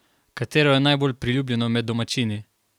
Katero je najbolj priljubljeno med domačini?